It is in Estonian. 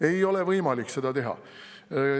Seda ei ole võimalik teha.